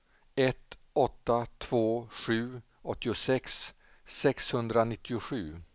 ett åtta två sju åttiosex sexhundranittiosju